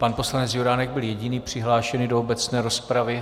Pan poslanec Juránek byl jediný přihlášený do obecné rozpravy.